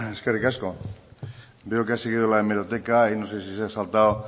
eskerrik asko bollain jauna veo que ha seguido la hemeroteca y no sé si se ha saltado